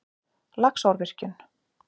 Laxárvirkjun